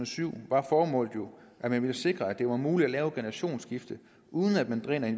syv var formålet jo at vi ville sikre at det var muligt at lave et generationsskifte uden at man drænede